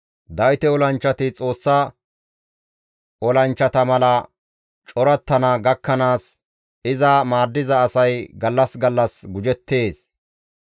Dawite olanchchati Xoossa olanchchata mala corattana gakkanaas iza maaddiza asay gallas gallas gujettees.